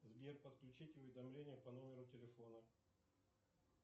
сбер подключить уведомления по номеру телефона